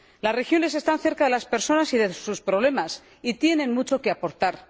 Las regiones están cerca de las personas y de sus problemas y tienen mucho que aportar.